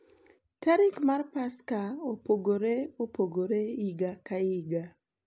Tarik mar Paska opogore opogore higa ka higa.